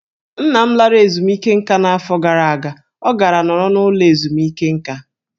Nna m lara ezumike nká n'afọ gara aga, ọ gara nọrọ n'ụlọ ezumike nká.